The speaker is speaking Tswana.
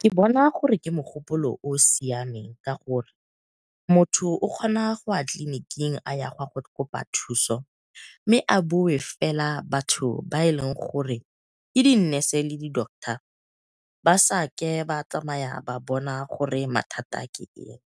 Ke bona gore ke mogopolo o o siameng ka gore, motho o kgona go ya tleliniking a ya go kopa thuso mme a bowe fela batho ba eleng gore ke di nurse le di doctor ba sa ke ba tsamaya ba bona gore mathata ke eng.